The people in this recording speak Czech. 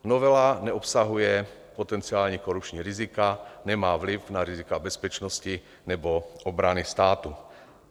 Novela neobsahuje potenciální korupční rizika, nemá vliv na rizika bezpečnosti nebo obrany státu.